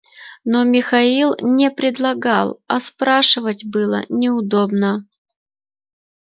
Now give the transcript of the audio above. но михаил не предлагал а спрашивать было неудобно